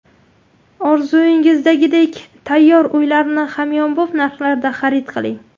Orzungizdagidek tayyor uylarni hamyonbop narxlarda xarid qiling.